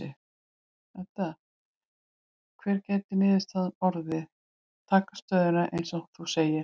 Edda: Hver gæti niðurstaðan orðið, taka stöðuna eins og þú segir?